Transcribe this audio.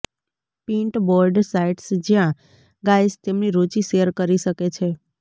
pinboard sites જ્યાં guys તેમની રુચિ શેર કરી શકે છે